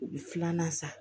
U bɛ filanan san